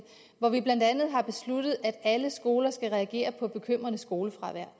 hvor vi blandt andet har besluttet at alle skoler skal reagere på bekymrende skolefravær